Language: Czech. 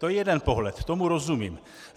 To je jeden pohled, tomu rozumím.